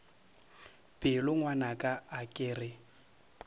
pelo ngwanaka a ke re